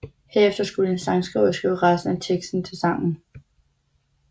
Herefter skulle en sangskriver skrive resten af teksten til sangen